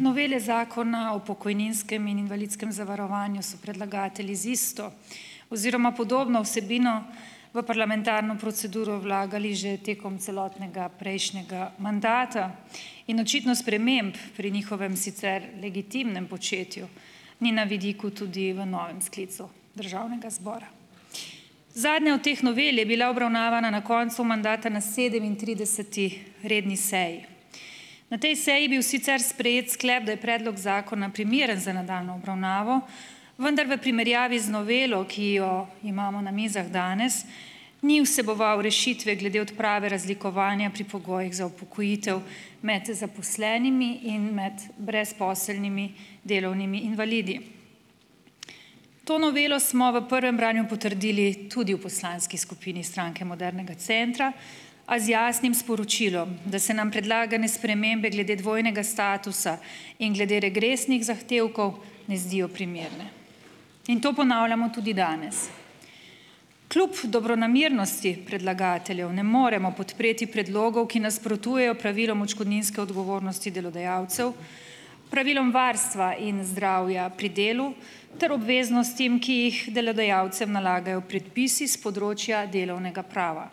Novele Zakona o pokojninskem in invalidskem zavarovanju so predlagatelji z isto oziroma podobno vsebino v parlamentarno proceduro vlagali že tekom celotnega prejšnjega mandata in očitno sprememb pri njihovem sicer legitimnem početju ni na vidiku tudi v novem sklicu državnega zbora. Zadnja od teh novel je bila obravnavana na koncu mandata na sedemintrideseti redni seji. Na tej seji bil sicer sprejet sklep, da je predlog zakona primeren za nadaljnjo obravnavo, vendar v primerjavi z novelo, ki jo imamo na mizah danes, ni vseboval rešitve glede odprave razlikovanja pri pogojih za upokojitev med zaposlenimi in med brezposelnimi delovnimi invalidi. To novelo smo v prvem branju potrdili tudi v poslanski skupini Stranke modernega centra, a z jasnim sporočilom, da se nam predlagane spremembe glede dvojnega statusa in glede regresnih zahtevkov ne zdijo primerne. In to ponavljamo tudi danes. Kljub dobronamernosti predlagateljev ne moremo podpreti predlogov, ki nasprotujejo pravilom odškodninske odgovornosti delodajalcev, pravilom varstva in zdravja pri delu, ter obveznostim, ki jih delodajalcem nalagajo predpisi s področja delovnega prava.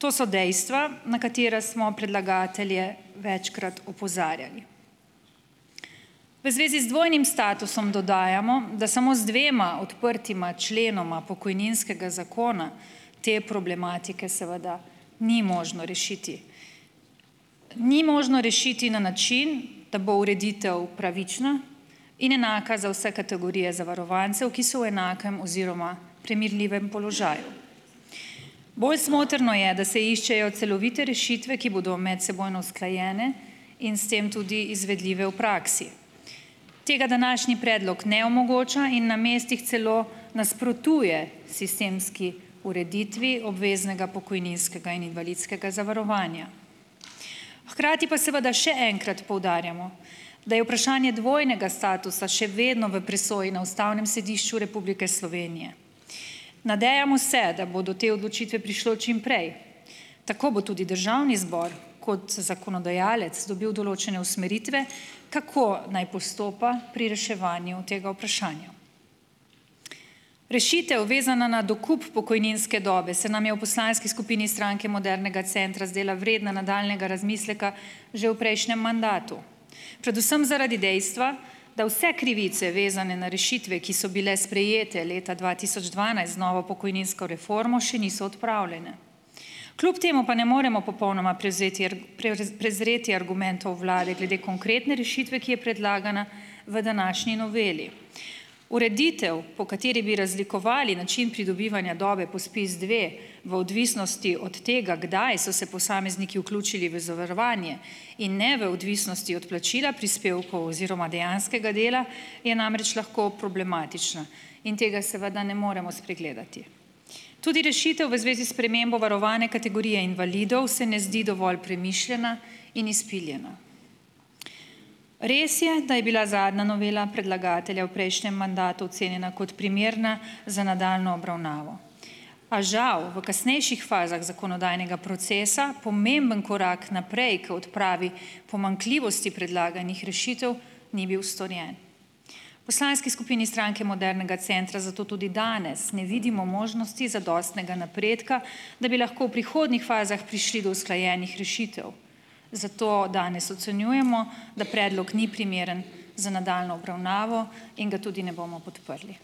To so dejstva, na katera smo predlagatelje večkrat opozarjali. V zvezi z dvojnim statusom dodajamo, da samo z dvema odprtima členoma pokojninskega zakona te problematike seveda ni možno rešiti. Ni možno rešiti na način, da bo ureditev pravična in enaka za vse kategorije zavarovancev, ki so v enakem oziroma primerljivem položaju. Bolj smotrno je, da se iščejo celovite rešitve, ki bodo medsebojno usklajene in s tem tudi izvedljive v praksi. Tega današnji predlog ne omogoča in na mestih celo nasprotuje sistemski ureditvi obveznega pokojninskega in invalidskega zavarovanja. Hkrati pa seveda še enkrat poudarjamo, da je vprašanje dvojnega statusa še vedno v presoji na Ustavnem sodišču Republike Slovenije. Nadejamo se, da bo do te odločitve prišlo čim prej, tako bo tudi državni zbor, kot zakonodajalec dobil določene usmeritve, kako naj postopa pri reševanju tega vprašanja. Rešitev, vezana na dokup pokojninske dobe, se nam je v poslanski skupini Stranke modernega centra zdela vredna nadaljnjega razmisleka že v prejšnjem mandatu. Predvsem zaradi dejstva, da vse krivice, vezane na rešitve, ki so bile sprejete leta dva tisoč dvanajst z novo pokojninsko reformo, še niso odpravljene. Kljub temu pa ne moremo popolnoma prevzeti kar, prezreti argumentov vlade glede konkretne rešitve, ki je predlagana v današnji noveli. Ureditev, po kateri bi razlikovali način pridobivanja dobe po SPIZ dve v odvisnosti od tega, kdaj so se posamezniki vključili v zavarovanje in ne v odvisnosti od plačila prispevkov oziroma dejanskega dela, je namreč lahko problematična in tega seveda ne moremo spregledati. Tudi rešitev v zvezi s spremembo varovane kategorije invalidov se ne zdi dovolj premišljena in izpiljena. Res je, da je bila zadnja novela predlagatelja v prejšnjem mandatu cenjena kot primerna za nadaljnjo obravnavo, a žal v kasnejših fazah zakonodajnega procesa, pomembno korak naprej k odpravi pomanjkljivosti predlaganih rešitev ni bil storjen. V poslanski skupini Stranke modernega centra zato tudi danes ne vidimo možnosti zadostnega napredka, da bi lahko v prihodnjih fazah prišli do usklajenih rešitev. Zato danes ocenjujemo, da predlog ni primeren za nadaljnjo obravnavo in ga tudi ne bomo podprli.